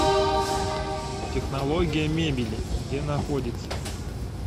технология мебели где находится